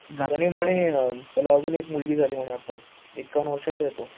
त्यानी म्हणे त्याला अजून एक मुलगी झाली म्हणे आत्ताच, एक्कावन वर्षाचा आहे तो